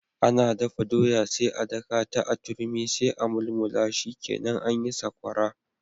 Ana dafa doya sai a dakata a turmi sai a mulmula shikenan anyi Sakwara.